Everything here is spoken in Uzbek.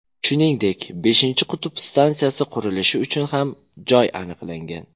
Shuningdek, beshinchi qutb stansiyasi qurilishi uchun ham joy aniqlangan.